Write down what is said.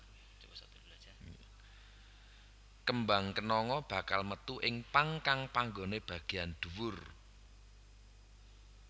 Kembang kenanga bakal metu ing pang kang panggoné bagéyan dhuwur